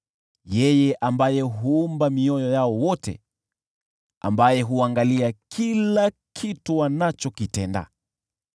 yeye ambaye huumba mioyo yao wote, ambaye huangalia kila kitu wanachokitenda.